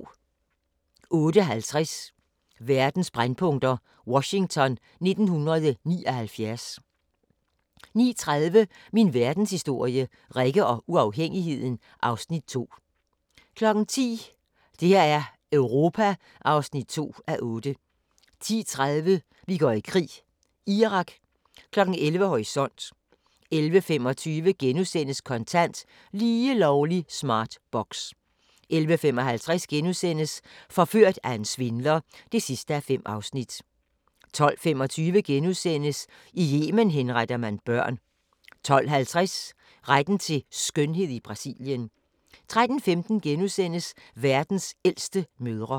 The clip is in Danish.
08:50: Verdens brændpunkter: Washington 1979 09:30: Min verdenshistorie – Rikke og uafhængigheden (Afs. 2) 10:00: Det her er Europa (2:8) 10:30: Vi går i krig: Irak 11:00: Horisont 11:25: Kontant: Lige lovlig smart box * 11:55: Forført af en svindler (5:5)* 12:25: I Yemen henretter man børn * 12:50: Retten til skønhed i Brasilien 13:15: Verdens ældste mødre *